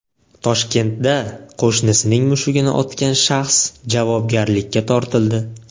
Toshkentda qo‘shnisining mushugini otgan shaxs javobgarlikka tortildi.